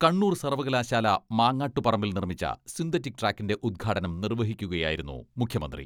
കണ്ണൂർ സർവ്വകലാശാല മാങ്ങാട്ടുപറമ്പിൽ നിർമ്മിച്ച സിന്തറ്റിക് ട്രാക്കിന്റെ ഉദ്ഘാടനം നിർവ്വഹിക്കുകയായിരുന്നു മുഖ്യമന്ത്രി.